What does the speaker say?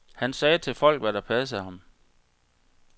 Han sagde til folk, hvad der passede ham.